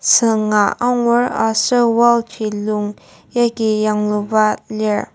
sünga angur aser wall ji lung yagi yangluba lir.